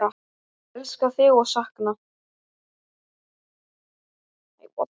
Elska þig og sakna.